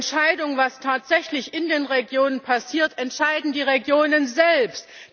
Die Entscheidung, was tatsächlich in den Regionen passiert, treffen die Regionen selbst!